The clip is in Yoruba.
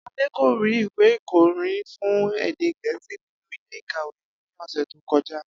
Adé kò rí ìwé ikó̩ni fún èdè Gè̩é̩sì nínú ilé-ìkàwé ní ò̩sè̩ tó ko̩já